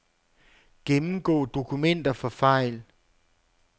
Gennemgå dokumenter for fejl.